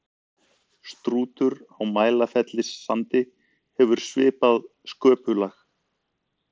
strútur á mælifellssandi hefur svipað sköpulag